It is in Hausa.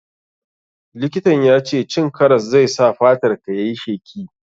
Likitan ya ce cin karas zai sa fatar ka yayi sheki.